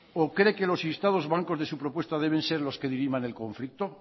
o cree que los instados bancos de su propuesta deben ser los que diriman el conflicto